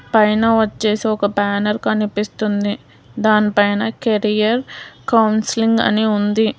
పైన వచ్చేసి ఒక బ్యానర్ కనిపిస్తుంది దాన్ పైన కెరియర్ కౌన్సిలింగ్ అని ఉంది.